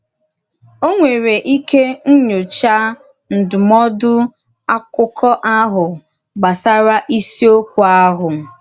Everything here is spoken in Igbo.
Ó nwèrè ike nyòchá ndúmòdù àkụ́kọ̀ ahụ gbasàrà ísìòkwú ahụ.